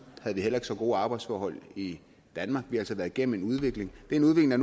heller ikke så gode arbejdsforhold i danmark vi har altså været gennem en udvikling det er